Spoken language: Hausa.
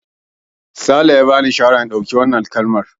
Sale ya bani shawarar in ɗauki wannan kalar.